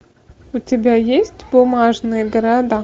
у тебя есть бумажные города